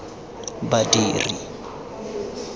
badiri